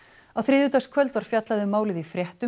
á þriðjudagskvöld var fjallað um málið í fréttum